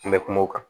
An bɛ kuma o kan